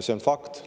See on fakt.